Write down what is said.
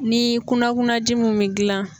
Ni kunnakunnaji mun bi gilan